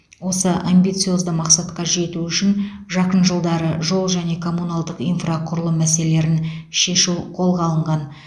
осы амбициозды мақсатқа жету үшін жақын жылдары жол және коммуналдық инфрақұрылым мәселелерін шешу қолға алынған